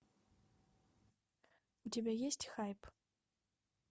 у тебя есть хайп